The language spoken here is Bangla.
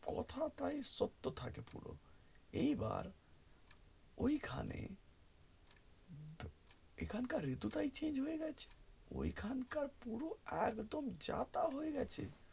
কথাটাই সত্য থাকে পুরো এইবার ওই খানে এখানকার ঋতুটা change হয়েগেছে ওই খানকার পুরো একদম যা তা হয়ে গেছে